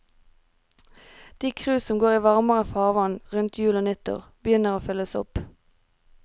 De cruise som går i varmere farvann rundt jul og nyttår, begynner å fylles opp.